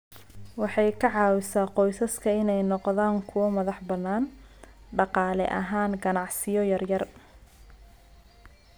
Waxay ka caawisaa qoysaska inay noqdaan kuwo madax-bannaan dhaqaale ahaan ganacsiyo yaryar.